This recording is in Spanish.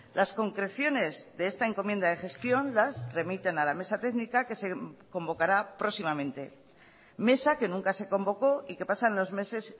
las concreciones de esta encomienda de gestión las remiten a la mesa técnica que se convocará próximamente mesa que nunca se convocó y que pasan los meses